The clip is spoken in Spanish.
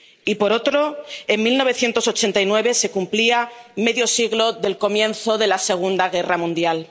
y, por otro, en 1989 se cumplía medio siglo del comienzo de la Segunda Guerra Mundial.